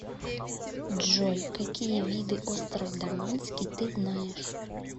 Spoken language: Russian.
джой какие виды остров даманский ты знаешь